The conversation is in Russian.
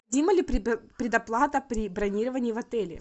необходима ли предоплата при бронировании в отеле